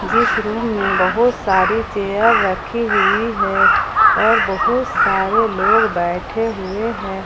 जिस रूम में बहोत सारी चेयर रखी हुई हैं और बहुत सारे लोग बैठे हुए है।